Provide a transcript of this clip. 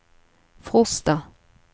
Frosta